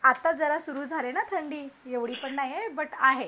आता जरा सुरु झाली ना थंडी, एवढी पण नाहीये बट आहे.